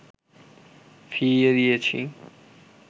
ফিরিয়ে দিয়েছি